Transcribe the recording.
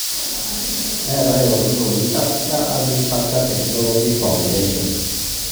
Neetae olturrurr oji Africa Agriculture Technology Foundation (AATF).